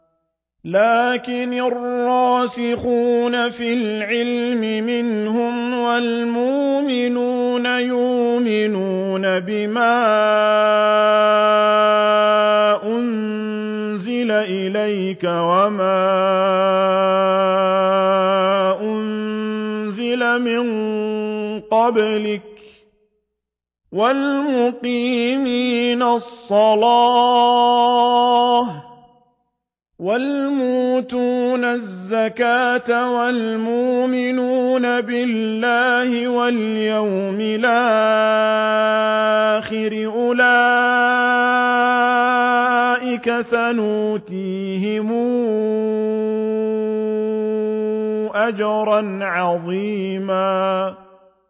لَّٰكِنِ الرَّاسِخُونَ فِي الْعِلْمِ مِنْهُمْ وَالْمُؤْمِنُونَ يُؤْمِنُونَ بِمَا أُنزِلَ إِلَيْكَ وَمَا أُنزِلَ مِن قَبْلِكَ ۚ وَالْمُقِيمِينَ الصَّلَاةَ ۚ وَالْمُؤْتُونَ الزَّكَاةَ وَالْمُؤْمِنُونَ بِاللَّهِ وَالْيَوْمِ الْآخِرِ أُولَٰئِكَ سَنُؤْتِيهِمْ أَجْرًا عَظِيمًا